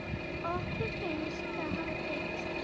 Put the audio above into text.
Okkur finnst það hafa tekist.